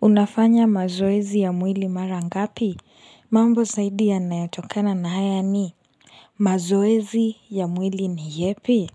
Unafanya mazoezi ya mwili mara ngapi? Mambo zaidi yanayo tokana na haya ni mazoezi ya mwili ni yepi?